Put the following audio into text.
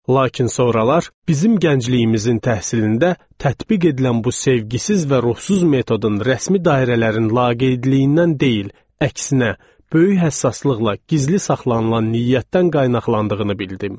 Lakin sonralar, bizim gəncliyimizin təhsilində tətbiq edilən bu sevgisiz və ruhsuz metodun rəsmi dairələrin laqeydliyindən deyil, əksinə, böyük həssaslıqla gizli saxlanılan niyyətdən qaynaqlandığını bildim.